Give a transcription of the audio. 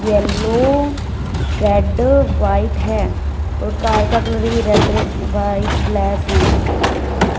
Yellow red white हैं और car का कलर भी रेड व्हाइट ब्लैक हैं।